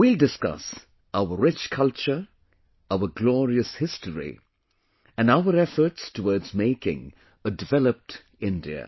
We will discuss our rich culture, our glorious history and our efforts towards making a developed India